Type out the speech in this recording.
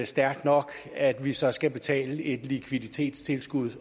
stærkt nok at vi så skal betale et likviditetstilskud